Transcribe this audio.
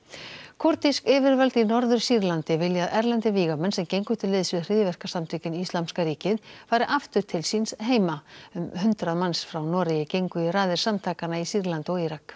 kúrdísk yfirvöld í Norður Sýrlandi vilja að erlendir vígamenn sem gengu til liðs við hryðjuverkasamtökin Íslamska ríkið fari aftur til síns heima um hundrað manns frá Noregi gengu í raðir samtakanna í Sýrlandi og Írak